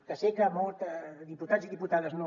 que sé que molts diputats i diputades no